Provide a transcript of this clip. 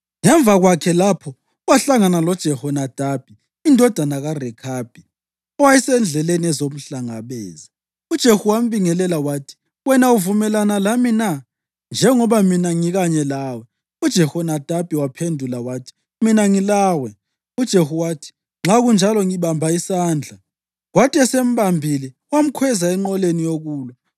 Ngemva kokusuka kwakhe lapho, wahlangana loJehonadabi indodana kaRekhabi, owayesendleleni ezomhlangabeza. UJehu wambingelela wathi, “Wena uvumelana lami na, njengoba mina ngikanye lawe?” UJehonadabi waphendula wathi, “Mina ngilawe.” UJehu wathi, “Nxa kunjalo ngibamba isandla,” kwathi esembambile wamkhweza enqoleni yokulwa.